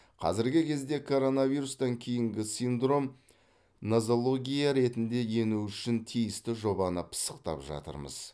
қазіргі кезде коронавирустан кейінгі синдром нозология ретінде енуі үшін тиісті жобаны пысықтап жатырмыз